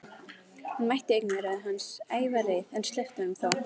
Hún mætti augnaráði hans, ævareið, en sleppti honum þó.